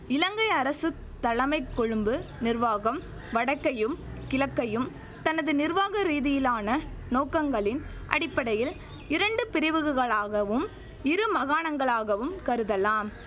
இலங்கை அரசு தலமைக் கொழும்பு நிர்வாகம் வடக்கையும் கிழக்கையும் தனது நிர்வாக ரீதியிலான நோக்கங்களின் அடிப்படையில் இரண்டு பிரிவுகுகளாகவும் இரு மகாணங்களாகவும் கருதலாம்